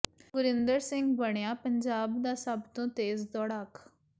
ਗੁਰਿੰਦਰ ਸਿੰਘ ਬਣਿਆ ਪੰਜਾਬ ਦਾ ਸਭ ਤੋਂ ਤੇਜ਼ ਦੌੜਾਕ